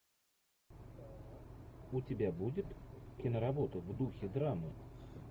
у тебя будет киноработа в духе драмы